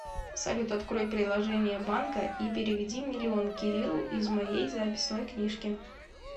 салют открой приложение банка и переведи миллион кириллу из моей записной книжке